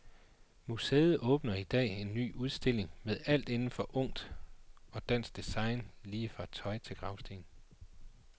Museet åbner i dag en ny stor udstilling med alt inden for ungt og dansk design lige fra tøj til gravsten.